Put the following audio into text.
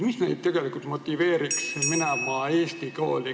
Mis neid tegelikult motiveeriks minema eesti kooli?